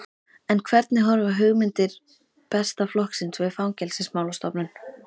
En hvernig horfa hugmyndir Besta flokksins við Fangelsismálastofnun?